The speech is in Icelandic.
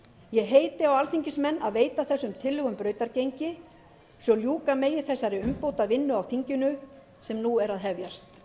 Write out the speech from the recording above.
ég heiti á alþingismenn að veita þessum tillögum brautargengi svo að ljúka megi þessari umbótavinnu á þinginu sem nú er að hefjast